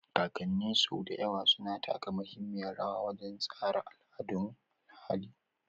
Kakanni sau da yawa suna taka muhimmiyar rawa wajen tsara al'adun ahali.